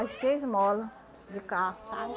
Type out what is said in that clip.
As seis molas de carro, sabe?